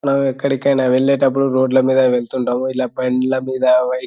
మనము ఎక్కడికి వెళ్ళేటప్పుడు రోడ్ల మీద వెళ్తుంటాము.ఇలా బండ్ల మీద --]